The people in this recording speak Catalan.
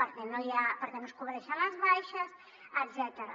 perquè no es cobreixen les baixes etcètera